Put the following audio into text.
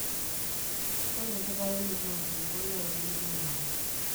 ore enkitayunoto oonkulupuok naa enterit nayau